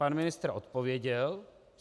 Pan ministr odpověděl.